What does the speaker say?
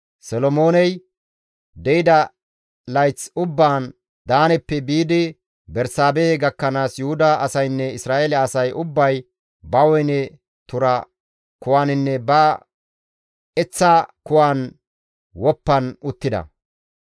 Solomooney de7ida layth ubbaan Daaneppe biidi Bersaabehe gakkanaas Yuhuda asaynne Isra7eele asay ubbay ba woyne tura kuwaninne ba eththaa kuwan woppan uttida.